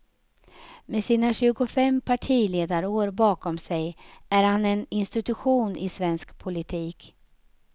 Med sina tjugofem partiledarår bakom sig är han en institution i svensk politik.